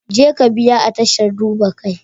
Jeka biya a tashar duba kai.